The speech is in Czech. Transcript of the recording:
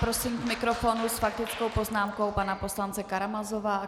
Prosím k mikrofonu s faktickou poznámkou pana poslance Karamazova.